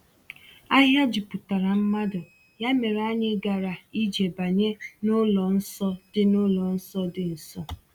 Ahịa juputara mmadụ, ya mere anyị gara ije banye n’ụlọ nsọ dị n’ụlọ nsọ dị nso.